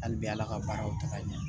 Hali bi ala ka baaraw ta ka ɲɛ